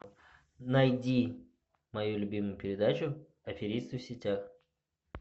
найди мою любимую передачу аферисты в сетях